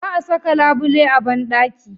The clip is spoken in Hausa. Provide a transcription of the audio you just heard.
Ba a saka labule a banɗaki